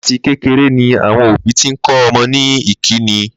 Láti kékeré ni àwo̩n òbí ti ń kó̩ o̩mo̩ ní ìkíni